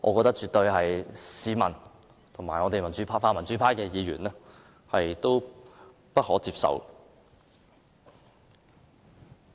這絕對是市民及泛民主派的議員不可接受的。